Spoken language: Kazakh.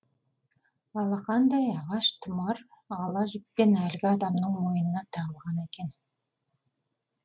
алақандай ағаш тұмар ала жіппен әлгі адамның мойнына тағылған екен